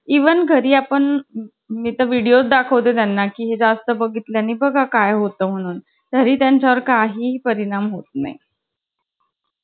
even घरी आपण video दाखवतो त्यांना की जास्त बघितल्या नी बघा काय होतं म्हणून तरी त्यांच्या वर काही परिणाम होत नाही